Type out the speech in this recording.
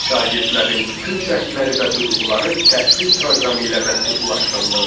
Biz şagirdlərin bütün cəhdləri və duyğuları təhsil proqramı ilə məhdudlaşdırılırdı.